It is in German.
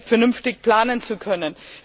vernünftig planen zu können.